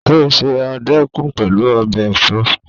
Ó se ọ̀dùkún pẹ̀lú ọbẹ̀ ẹ̀fọ́